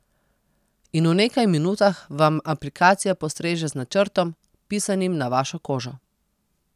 In v nekaj minutah vam aplikacija postreže z načrtom, pisanim na vašo kožo.